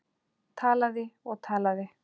Talaði og talaði.